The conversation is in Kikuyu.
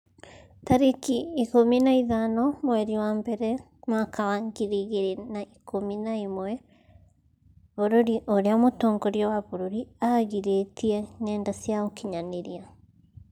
tarĩki ikũmi na ithano mweri wa mbere mwaka wa ngiri igĩrĩ na ikũmi na ĩmwe Bũrũri ũrĩa mũtongoria wa bũrũri aagirĩtie ngenda cia ũkinyanĩria